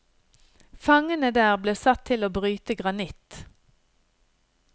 Fangene der ble satt til å bryte granitt.